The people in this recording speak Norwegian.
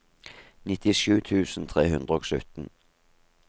nittisju tusen tre hundre og sytten